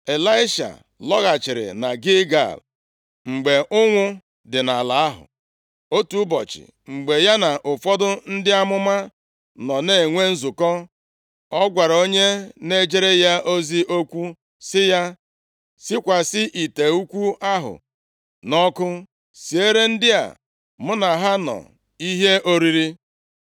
Ịlaisha lọghachiri na Gilgal, mgbe ụnwụ dị nʼala ahụ. Otu ụbọchị, mgbe ya na ụfọdụ ndị amụma nọ na-enwe nzukọ, ọ gwara onye na-ejere ya ozi okwu sị ya: “Sikwasị ite ukwu ahụ nʼọkụ, siere ndị a mụ na ha nọ ihe oriri.”